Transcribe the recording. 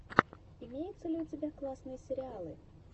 имеется ли у тебя классные сериалы